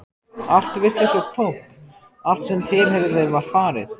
Allt virtist svo tómt, allt sem tilheyrði þeim var farið.